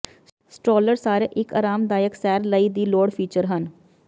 stroller ਸਾਰੇ ਇੱਕ ਆਰਾਮਦਾਇਕ ਸੈਰ ਲਈ ਦੀ ਲੋੜ ਫੀਚਰ ਹਨ